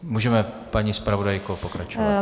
Můžeme, paní zpravodajko, pokračovat.